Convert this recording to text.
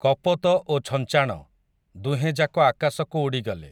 କପୋତ ଓ ଛଞ୍ଚାଣ, ଦୁହେଁଯାକ ଆକାଶକୁ ଉଡ଼ିଗଲେ ।